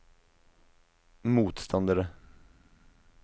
motstandere